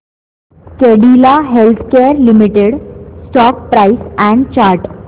Cadila healthcare limited stock price and chart